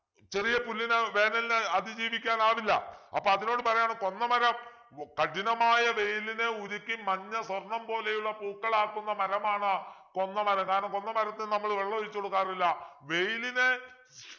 ചെറിയ പുല്ലിന് വേനലിനെ അതിജീവിക്കാനാവില്ല അപ്പൊ അതിനോട് പറയാണ് കൊന്നമരം കഠിനമായ വെയിലിനെ ഉരുക്കി മഞ്ഞ സ്വർണം പോലെയുള്ള പൂക്കളാക്കുന്ന മരമാണ് കൊന്നമരം കാരണം കൊന്നമരത്തിനു നമ്മൾ വെള്ളമൊഴിച്ചു കൊടുക്കാറില്ല വെയിലിനെ